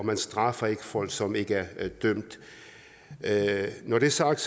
man straffer ikke folk som ikke er dømt når det er sagt